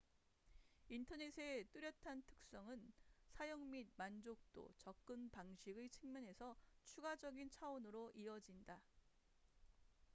인터넷의 뚜렷한 특성은 사용 및 만족도 접근 방식의 측면에서 추가적인 차원으로 이어진다